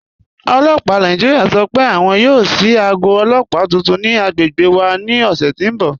Ọlọ́pà Nàìjíríà sọ́ pé àwọn yóò ṣíì àgọ̀ ọlọ́pà tuntun ni àgbègbè wà ni ọṣẹ̀ ti n bọ̀.